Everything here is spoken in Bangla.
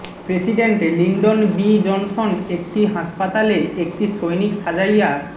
প্রেসিডেন্ট লিন্ডন বি জনসন একটি হাসপাতালে একটি সৈনিক সাজাইয়া